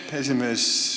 Aitäh, esimees!